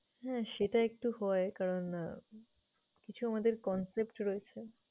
হ্যাঁ, সেটা একটু হয় কারণ আহ কিছু আমাদের concept রয়েছে।